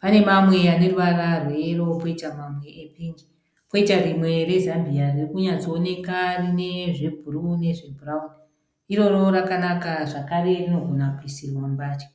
Pane mamwe ane ruvara rweyero, koita mamwe epingi. Koita rimwe rezambiya riri kunyatsooneka rine zvebhuruu nezvebhurauni. Iroro rakanaka zvakare rinogona kuisirwa mbatya.